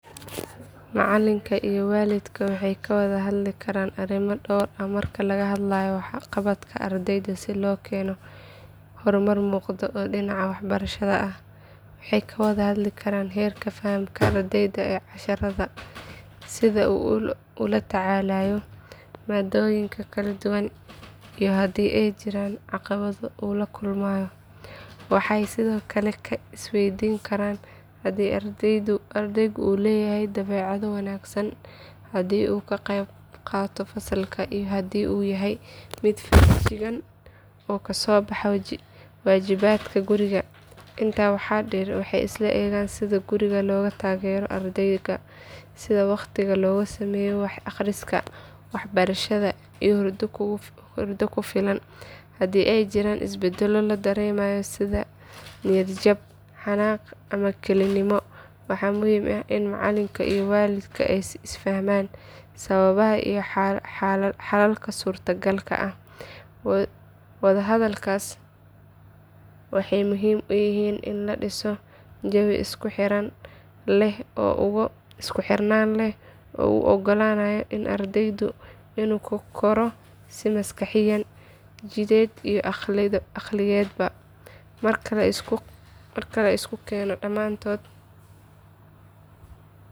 Macallinka iyo waalidka waxay ka wada hadli karaan arrimo dhowr ah marka laga hadlayo waxqabadka ardayga si loo helo horumar muuqda oo dhinaca waxbarashada ah. Waxay ka wada hadli karaan heerka fahamka ardayga ee casharrada, sida uu ula tacaalayo maadooyinka kala duwan iyo haddii ay jiraan caqabado uu la kulmayo. Waxay sidoo kale is weydiin karaan haddii ardaygu leeyahay dabeecado wanaagsan, haddii uu ka qaybqaato fasalka iyo haddii uu yahay mid feejigan oo ka soo baxa waajibaadka guriga. Intaa waxaa dheer waxay isla eegaan sida guriga looga taageero ardayga, sida wakhti loogu sameeyo wax akhris, waxbarasho iyo hurdo kugu filan. Haddii ay jiraan isbeddello la dareemayo sida niyad jab, xanaaq ama kelinimo, waa muhiim in macallinka iyo waalidka ay isla fahmaan sababaha iyo xalalka suurtagalka ah. Wadahadalladaas waxay muhiim u yihiin in la dhiso jawi isku xirnaan leh oo u oggolaanaya ardayga inuu ku koro si maskaxiyan, jidheed iyo akhlaaqeedba ah.